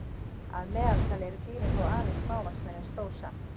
Að meðaltali eru dýrin þó aðeins smávaxnari en stór samt.